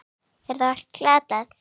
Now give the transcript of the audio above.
Er þá allt glatað?